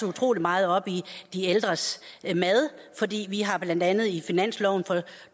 utrolig meget op i de ældres mad vi har blandt andet i finansloven for